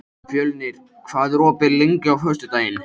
Fjölnir, hvað er opið lengi á föstudaginn?